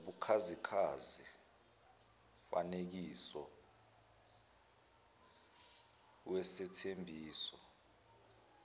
nobukhazikhazi kungumfanekiso wesethembiso